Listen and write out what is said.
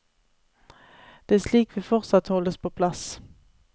Det er slik vi fortsatt holdes på plass.